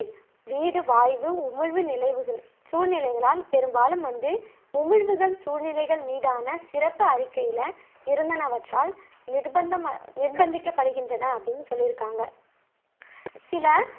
பச்சை வீடு வாய்வு உமிழ்வு நிலைவுகளி சூழ்நிலைகளால், பெரும்பாலும் வந்து உமிழ்வுகள் சூழ்நிலைகள் மீதான சிறப்பு அறிக்கையில இருந்தானவற்றால் நிர்பந்தமா நிர்ப்பந்திக்கப்படுகின்றன அப்படின்னு சொல்லியிருக்காங்க. சில